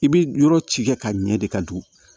I bi yɔrɔ ci kɛ ka ɲɛ de ka don